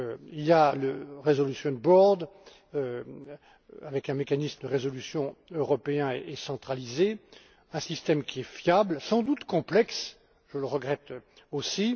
Il y a le resolution board avec un mécanisme de résolution européen et centralisé, un système qui est fiable, sans doute complexe, je le regrette aussi.